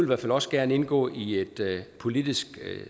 hvert fald også gerne indgå i et politisk